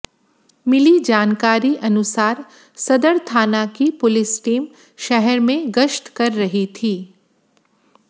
मिली जानकारी अनुसार सदर थाना की पुलिस टीम शहर में गश्त कर रही थी